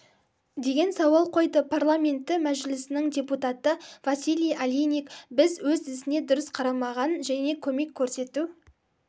деген сауал қойды парламенті мәжілісінің депутаты василий олейник біз өз ісіне дұрыс қарамаған және көмек көрсету